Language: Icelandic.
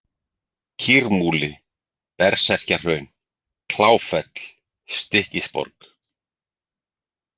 Kýrmúli, Berserkjahraun, Kláffell, Stykkisborg